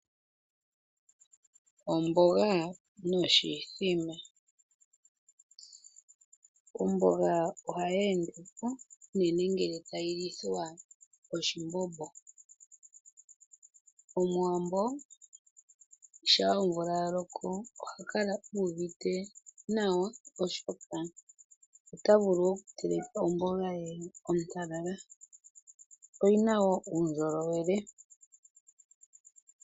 Omboga noshithima. Omboga ohayi endepo unene ngele tayi lithwa oshimbombo. Omuwambo shampa omvula yaloko ohakala u uvite nawa oshoka otavulu oku teleka omboga ye ontalala. Oyina woo uundjolowele.